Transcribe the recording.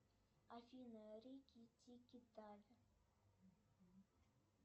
афина рики тики тави